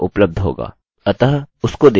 वह ip addresses का वर्णन करता है